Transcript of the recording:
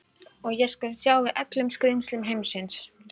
Og ég skal sjá við öllum skrímslum heimsins.